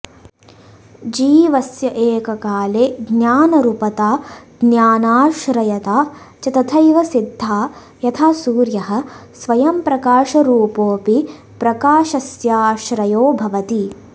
जीवस्य एककाले ज्ञानरुपता ज्ञानाश्रयता च तथैव सिद्धा यथा सूर्यः स्वयं प्रकाशरुपोऽपि प्रकाशस्याश्रयो भवति